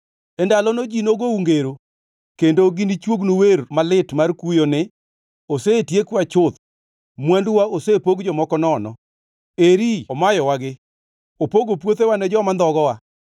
E ndalono ji nogou ngero; kendo ginichuognu wer malit mar kuyo ni: ‘Osetiekwa chuth, mwanduwa osepog jomoko nono. Eri omayowagi! Opogo puothewa ne joma ndhogowa.’ ”